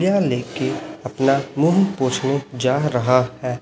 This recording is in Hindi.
यह ले के अपना मुंह पूछने जा रहा है।